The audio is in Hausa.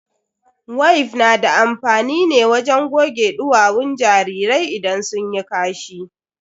Wif na da amfani ne wajen goge duwawun jarirai idan sun yi kashi.